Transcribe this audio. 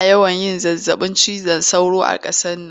Ana yawan yin zazzabin cizon sauro a qasar nan